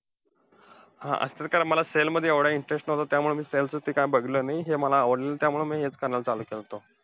हा असंही काय मला sell मध्ये एवढा interest नव्हता, त्यामुळे मी ते sells च काय बघितलं नाही, ते मला आवडलं नाही, त्यामुळे मी करायला चालू केलंत.